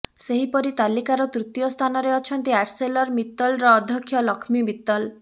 ସେହିପରି ତାଲିକାର ତୃତୀୟ ସ୍ଥାନରେ ଅଛନ୍ତି ଆର୍ସେଲର ମିତ୍ତଲର ଅଧ୍ୟକ୍ଷ ଲକ୍ଷ୍ମୀ ମିତ୍ତଲ